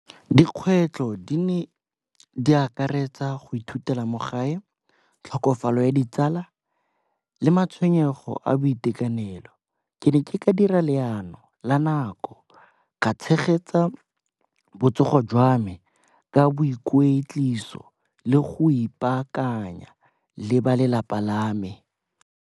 Dikgwetlho di akaretsa go ithutela mo gae, tlhokofalo ya ditsala le matshwenyego a boitekanelo. Ke ne ke ka dira leano la nako ka tshegetsa botsogo jwa me ka boikwetliso le go ipaakanya le ba lelapa lame.